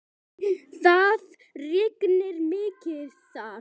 Það rignir mikið þar.